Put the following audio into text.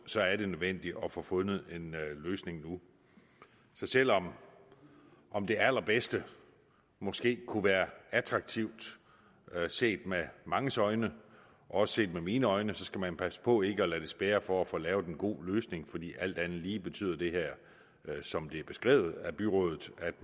så er det nødvendigt at få fundet en løsning nu så selv om om det allerbedste måske kunne være attraktivt set med manges øjne også set med mine øjne skal man passe på ikke at lade det spærre for at få lavet en god løsning for alt andet lige betyder det her som det er beskrevet af byrådet at